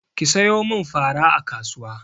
Ki sayo min fara a kasuwa!